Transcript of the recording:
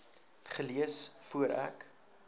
gelees voor ek